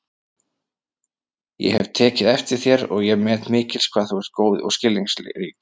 Ég hef tekið eftir þér og ég met mikils hvað þú ert góð og skilningsrík